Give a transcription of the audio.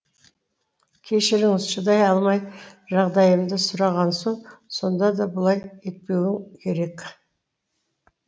кешіріңіз шыдай алмай жағдайымды сұраған соң сонда да бұлай етпеуің керек